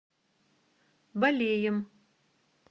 балеем